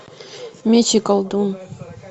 меч и колдун